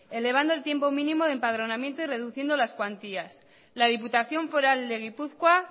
elevando el tiempo mínimo de empadronamiento y reduciendo las cuantías la diputación foral de gipuzkoa